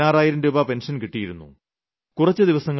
അദ്ദേഹത്തിന് 16000 രൂപ പെൻഷൻ കിട്ടിയിരുന്നു